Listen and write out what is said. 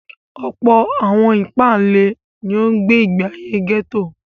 Ọ̀pọ̀ àwọn ìpáǹle ni ó gbé ìgbé ayé gẹ́tò.